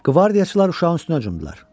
Qvardiyaçılar uşağın üstünə cumdular.